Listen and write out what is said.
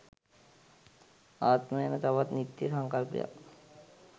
ආත්ම යන තවත් නිත්‍ය සංකල්පයක්